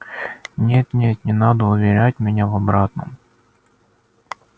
нет нет не надо уверять меня в обратном